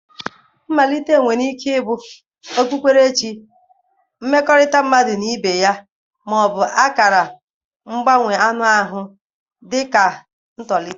Mmalite nwere ike ịbụ okpukperechi, mmekọrịta mmadụ na ibe ya, ma ọ bụ akara mgbanwe anụ ahụ dị ka ntolite.